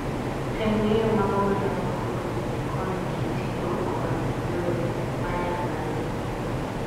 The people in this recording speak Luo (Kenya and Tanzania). tem ng'eyo mago manyalo kony kitiyo kod yore manyasani